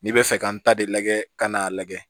N'i bɛ fɛ ka n ta de lajɛ ka n'a lajɛ